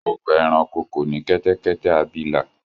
ọgbà ẹranko kò ní kẹtẹkẹtẹ abilà.